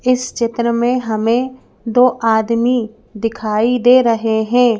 इस चित्र में हमें दो आदमी दिखाई दे रहे हैं।